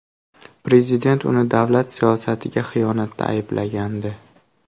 Prezident uni davlat siyosatiga xiyonatda ayblagandi.